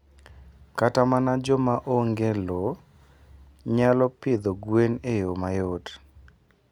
Kata mana joma onge lowo nyalo pidho gwen e yo mayot.